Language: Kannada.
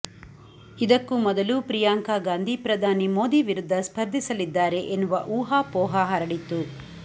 ಇದಕ್ಕೂ ಮೊದಲು ಪ್ರಿಯಾಂಕಾ ಗಾಂಧಿ ಪ್ರಧಾನಿ ಮೋದಿ ವಿರುದ್ಧ ಸ್ಪರ್ಧಿಸಲಿದ್ದಾರೆ ಎನ್ನುವ ಊಹಾಪೋಹ ಹರಡಿತ್ತು